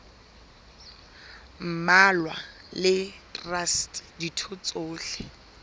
mmalwa le traste ditho tsohle